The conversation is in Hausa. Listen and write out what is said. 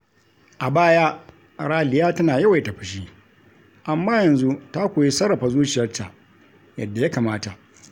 A baya, Raliya tana yawaita fushi, amma yanzu ta koyi sarrafa zuciyarta yadda ya kamata.